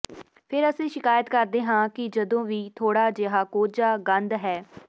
ਫਿਰ ਅਸੀਂ ਸ਼ਿਕਾਇਤ ਕਰਦੇ ਹਾਂ ਕਿ ਜਦੋਂ ਵੀ ਥੋੜ੍ਹਾ ਜਿਹਾ ਕੋਝਾ ਗੰਧ ਹੈ